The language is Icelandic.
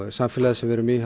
samfélagið sem við erum í